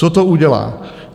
Co to udělá?